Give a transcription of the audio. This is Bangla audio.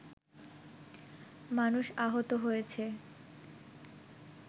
মানুষ আহত হয়েছে